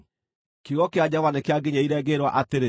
Kiugo kĩa Jehova nĩkĩanginyĩrĩire, ngĩĩrwo atĩrĩ,